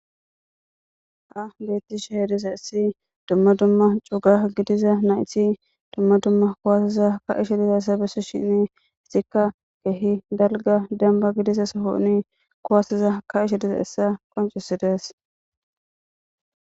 ha beettishe he diza issi dumma dumma cuga gidiza nayti dumma dumma kuwaasiza ka ishe diza essa besso shini istikka geehi dalga demba gidiza sohouni kuwasiza ka ishe diza essa qoncisidees